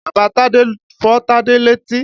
Bàba Tádé fọ́ Tádé létí.